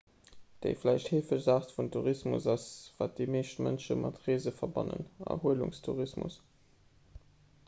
déi vläicht heefegst aart vun tourismus ass wat déi meescht mënsche mat reese verbannen erhuelungstourismus